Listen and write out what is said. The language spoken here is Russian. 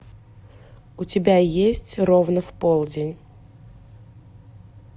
у тебя есть ровно в полдень